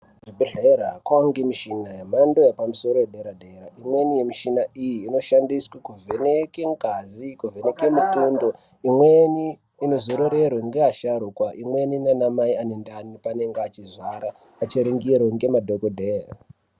Kuzvibhedhlera kwaange mishina yemhando yepamusoro yedera-dera. Imweni yemishina iyi inoshandiswe kuvheneke ngazi, kuvheneke mitundo. Imweni inozororerwe ngeasharukwa, imweni naanmai ane ndani paanenge achirwara achiringirwe ngemadhokodheye.